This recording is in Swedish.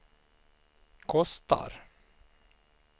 kostar